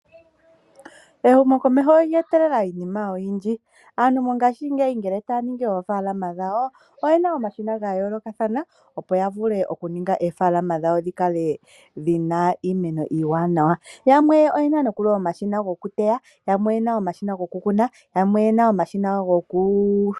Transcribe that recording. Ehumokomeho olye etelela iinima oyindji, aantu mongaashingeyi ngele taya ningi oofaalama dhawo oye na omashina ga yoolokathana, opo ya vule oku ninga oofaalama dhawo dhi kale dhi na iimeno iiwanawa. Yamwe oye na nokuli omashina goteya, yamwe oye na omashina goku kuna.